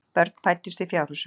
Börn fæddust í fjárhúsum.